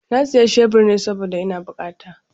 Na siya shebur ne saboda ina bukata.